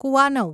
કુવાનવ